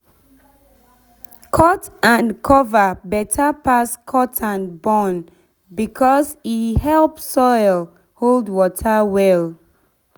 cut-and-cover better pass cut-and-burn because e help soil hold water well